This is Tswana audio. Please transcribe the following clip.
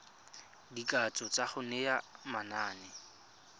dikatso tsa go naya manane